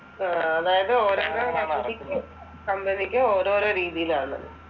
ഉം അതായത് ഓരോരോ കമ്പനിക്കും, കമ്പനിക്കും ഓരോരോ രീതിയിലാണ്.